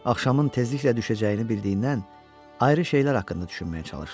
Axşamın tezliklə düşəcəyini bildiyindən, ayrı şeylər haqqında düşünməyə çalışdı.